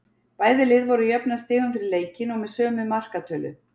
Bæði lið voru jöfn að stigum fyrir leikinn og með sömu markatölu.